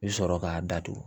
I bi sɔrɔ k'a datugu